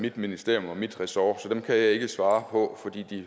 mit ministerium og mit ressort så det kan jeg ikke svare på fordi